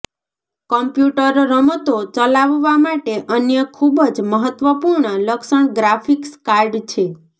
computer રમતો ચલાવવા માટે અન્ય ખૂબ જ મહત્વપૂર્ણ લક્ષણ ગ્રાફિક્સ કાર્ડ છે